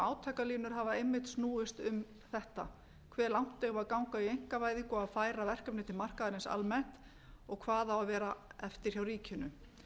átakalínur hafa einmitt snúist um þetta hve langt eigum við að ganga í einkavæðingu og að færa verkefni til markaðarins almennt og hvað á að vera eftir hjá ríkinu